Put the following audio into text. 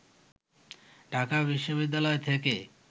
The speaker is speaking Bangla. ঢাকা বিশ্ববিদ্যালয় থেকে